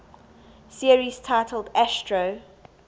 series titled astro